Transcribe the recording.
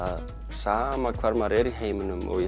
sama hvar maður er í heiminum og ég